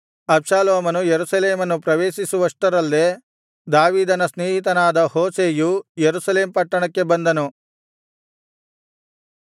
ಅಬ್ಷಾಲೋಮನು ಯೆರೂಸಲೇಮನ್ನು ಪ್ರವೇಶಿಸುವಷ್ಟರಲ್ಲೇ ದಾವೀದನ ಸ್ನೇಹಿತನಾದ ಹೂಷೈಯು ಯೆರೂಸಲೇಮ್ ಪಟ್ಟಣಕ್ಕೆ ಬಂದನು